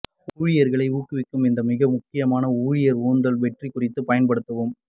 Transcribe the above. ஊழியர்களை ஊக்குவிக்க இந்த மிக முக்கியமான ஊழியர் உந்துதல் வெற்றி குறிப்பு பயன்படுத்தவும்